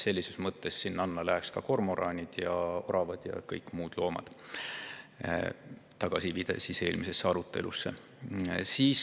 Selles mõttes läheks sinna alla ka kormoranid, oravad ja kõik muud loomad – tagasiviide eelnenud arutelule.